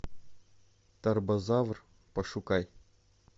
тарбозавр пошукай